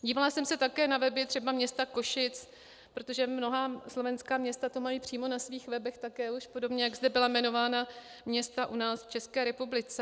Dívala jsem se také na weby třeba města Košic, protože mnohá slovenská města to mají přímo na svých webech také už, podobně jak zde byla jmenována města u nás v České republice.